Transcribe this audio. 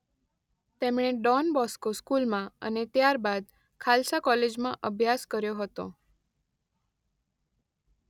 તેમણે Don Bosco સ્કુલમાં અને ત્યાર બાદ ખાલસા કોલેજમાં અભ્યાસ કર્યો હતો